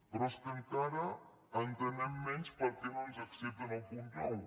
però és que encara entenem menys per què no ens accepten el punt nou